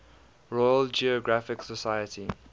royal geographical society